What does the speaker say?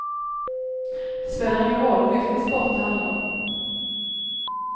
Det spelar ingen roll vilken sport det handlar om.